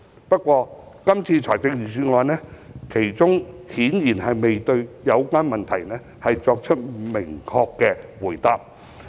不過，今年的預算案中顯然未有明確回答上述問題。